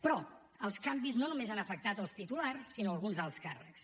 però els canvis no només han afectat els titulars sinó alguns alts càrrecs